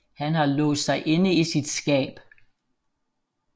Han har låst sig inde i sit skab